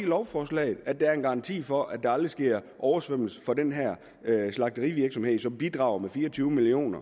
lovforslaget at der er en garanti for at der aldrig sker oversvømmelse på den her slagterivirksomhed som bidrager med fire og tyve million